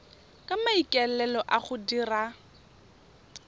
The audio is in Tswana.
ka maikaelelo a go dira